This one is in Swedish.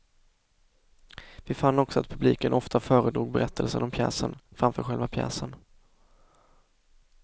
Vi fann också att publiken ofta föredrog berättelsen om pjäsen framför själva pjäsen.